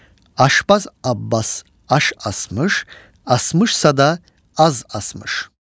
Aşpaz Abbas aş asmış, asmış sada az asmış.